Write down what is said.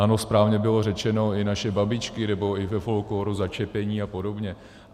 Ano, správně bylo řečeno, i naše babičky, nebo i ve folklóru začepení a podobně.